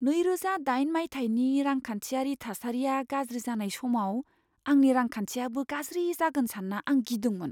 नैरोजा दाइन मायथाइनि रांखान्थियारि थासारिया गाज्रि जानाय समाव आंनि रांखान्थियाबो गाज्रि जागोन सान्ना आं गिदोंमोन।